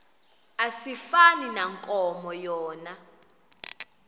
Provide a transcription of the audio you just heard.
asifani nankomo yona